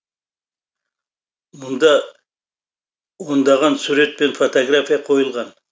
мұнда ондаған сурет пен фотография қойылған